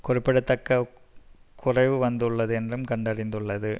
குறிப்பிடத்தக்க குறைவு வந்துள்ளது என்றும் கண்டறிந்துள்ளது